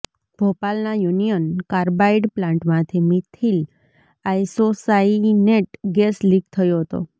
ભોપાલના Union Carbide પ્લાન્ટમાંથી methyl isocyanate gas leak થયો હતો